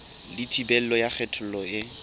le thibelo ya kgethollo e